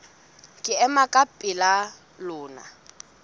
ke ema ka pela lona